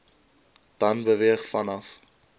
dan beweeg vanaf